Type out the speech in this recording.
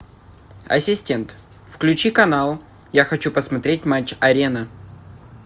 ассистент включи канал я хочу посмотреть матч арена